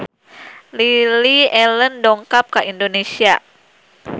Lily Allen dongkap ka Indonesia